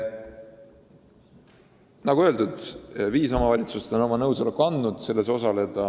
Nagu öeldud, viis omavalitsust on andnud nõusoleku osaleda.